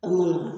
An mana